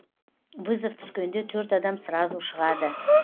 вызов түскенде төрт адам сразу шығады